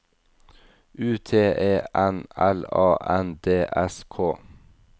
U T E N L A N D S K